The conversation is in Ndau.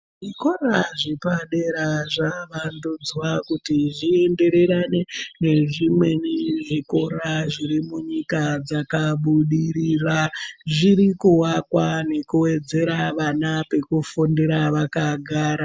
Zvikora zvepadera zvakuvandudzwa kuti zviendererane nezvimweni zvikora zvirimunyika dzakabudirira zvirikuwakwa nekuwedzera vana pekufundira vakagara.